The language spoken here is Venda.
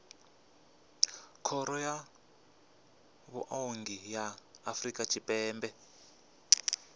khoro ya vhuongi ya afrika tshipembe